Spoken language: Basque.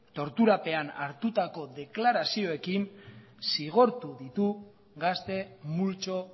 torturapean hartutako deklarazioekin zigortu ditu gazte multzo